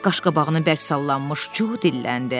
Qaşqabağını bərk sallanmış Co dilləndi: